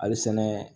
Hali sɛnɛ